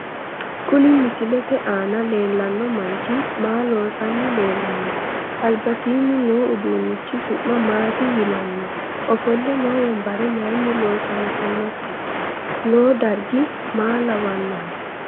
Kuni misilete aana leelanno manchi maa loosani leelanno albasiini no uduunichu su'ma maati yinanni ofolle noo wonbare mayiini loosantonote noo darggi maa lawanohe